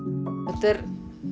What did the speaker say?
þetta er